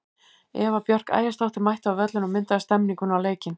Eva Björk Ægisdóttir mætti á völlinn og myndaði stemmninguna og leikinn.